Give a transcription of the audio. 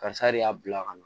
Karisa de y'a bila ka na